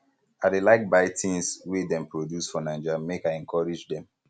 i dey like buy tins wey dem produce for naija make i encourage dem